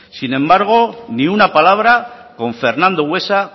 sin embargo ni una palabra con fernando buesa